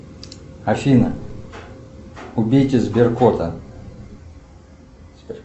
афина убейте сберкота